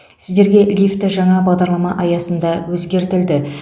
сіздерге лифті жаңа бағдарлама аясында өзгертілді